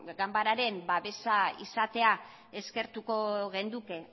ganbararen babesa izatea eskertuko genuke